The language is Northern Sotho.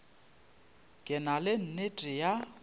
ke na le nnete ya